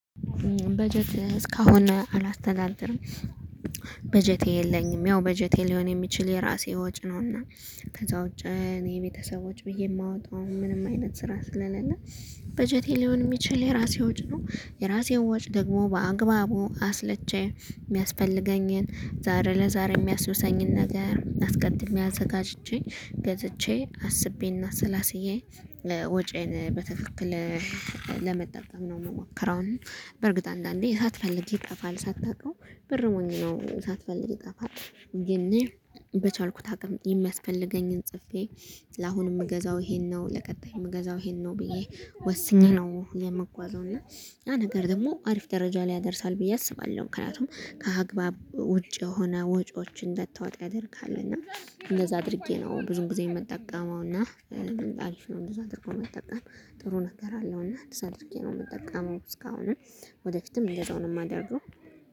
በጀት እስካሁን አላስተዳድርም። በጀቴ የለኝም ያው በጀቴ ሊሆን የሚችል የራሴ ወጪ ነውና ከዛ ውጭ እኔ ቤተሰቦች ብዬ ማወጣው ምንም አይነት ስራ ስለሌለ። በጀቴ ሊሆን ሚችል የራሴ ወጪ ነው የራሴን ወጪ ደግሞ በአግባቡ አስልቼ ሚያስፈልገኝን ዛሬ ለዛሬ ሚያስውሰኝን ነገር አስቀድሜ አዘጋጅቼ ገዝቼ አስቤ እና አሰላስዬ ወጪዬን በትክክል ለመጠቀም ነው ምሞከረው። በእርግጥ አንዳንዴ ሳትፈልግ ይጠፋል ሳታውቀው ብር ሞኝ ነው ሳትፈልግ ይጠፋል። ግን እኔ በቻልኩት አቅም የሚያስፈልገኝን ጽፌ ለአሁን እምገዛው ይሄን ነው። ለቀጣይ እምገዛው ይሄን ነው ብዬ ወስኜ ነው የምጓዘው እና ያ ነገር ደግሞ አሪፍ ደረጃ ላይ ያደርሳል ብዬ አስባለሁ። ምክንያቱም ከአግባብ ውጭ የሆነ ወጪዎችን እንዳታወጣ ያደርግሃል። እና እንደዛ አድርጌ ነው ብዙ ጊዜ ምጠቀመው። እና አሪፍ ነው እንደዛ አድርጎ መጠቀም ጥሩ ነገር አለው። እና እንደዛ አድርጌ ነው ምጠቀመው እስካሁንም ወደፊትም እንደዛው ነው ማደርገው